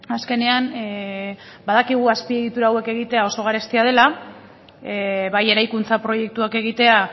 azkenean badakigu azpiegitura hauek egitea oso garestia dela bai eraikuntza proiektuak egitea